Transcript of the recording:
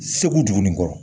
Segu dugu nin kɔrɔ